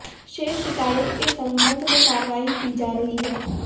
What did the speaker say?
शेष शिकायत के संबंध में कार्यवाही की जा रही है